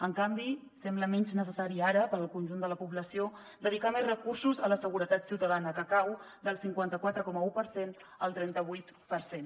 en canvi sembla menys necessari ara per al conjunt de la població dedicar més recursos a la seguretat ciutadana que cau del cinquanta quatre coma un per cent al trenta vuit per cent